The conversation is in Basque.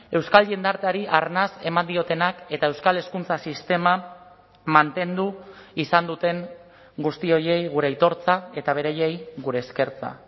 euskal jendarteari arnas eman diotenak eta euskal hezkuntza sistema mantendu izan duten guzti horiei gure aitortza eta beraiei gure eskertza